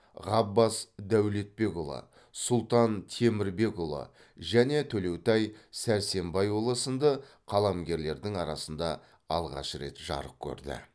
ғаббас дәулетбекұлы сұлтан темірбекұлы және төлеутай сәрсенбайұлы сынды қаламгерлердің арасында алғаш рет жарық көрді